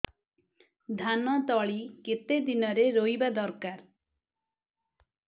ଧାନ ତଳି କେତେ ଦିନରେ ରୋଈବା ଦରକାର